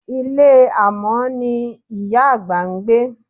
Ilé amọ̀n ni ìyá àgbà ń gbé.